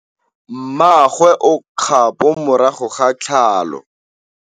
Mmagwe o kgapô morago ga tlhalô.